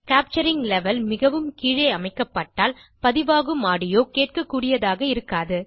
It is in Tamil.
கேப்சரிங் லெவல் மிகவும் கீழே அமைக்கப்பட்டால் பதிவாகும் ஆடியோ கேட்கக்கூடியதாக இருக்காது